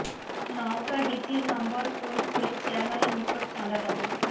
নওগাঁ ডিসির number clone করে চেয়ারম্যানের নিকট চাঁদা দাবি